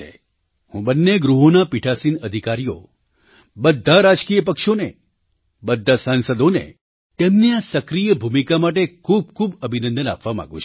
હું બને ગૃહોના પીઠાસીન અધિકારીઓ બધા રાજકીય પક્ષોને બધા સાંસદોને તેમની આ સક્રિય ભૂમિકા માટે ખૂબ ખૂબ અભિનંદન આપવા માગું છું